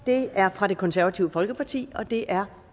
er fra det konservative folkeparti og det er